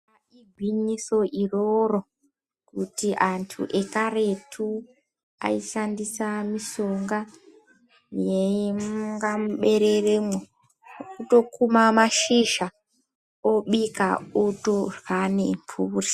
Igwinyiso iroro kuti antu ekaretu aishandisa mishonga yainga mubereremwo kutokuma mashizha obika otorya nemhuri.